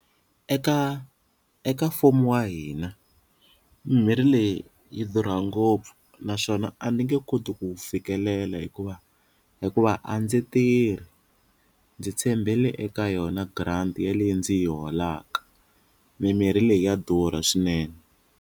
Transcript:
Eka eka mfumo wa hina mimirhi leyi yi durhaka ngopfu naswona a ni nge koti ku fikelela hikuva hikuva a ndzi tirhi ndzi tshembele eka yona grant ya leyi ndzi yi holaka mimirhi leyi ya durha swinene.